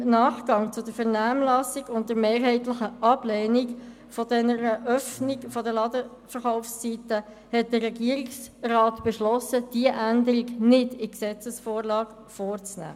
Im Nachgang zur Vernehmlassung und angesichts mehrheitlich geäusserten Ablehnung der liberaleren Ladenverkaufszeiten hat der Regierungsrat beschlossen, diese nicht in die Gesetzesvorlage aufzunehmen.